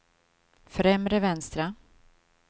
främre vänstra